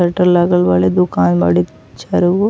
shutter लागल बाड़े दुकान बाड़े चारों ओर --